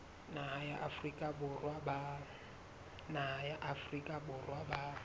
naha ya afrika borwa ba